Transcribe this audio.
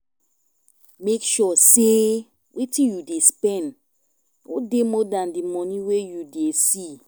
make sure sey wetin you dey spend no dey more than di money wey you dey see